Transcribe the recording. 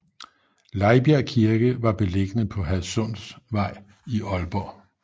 Lejbjerg Kirke var beliggende på Hadsundvej i Aalborg